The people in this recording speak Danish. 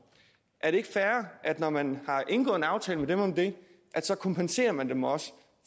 er det ikke fair at når man har indgået en aftale med dem om det så kompenserer man dem også